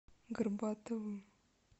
горбатовым